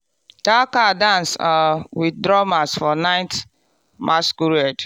that cow dance um with drummers for night masquerade.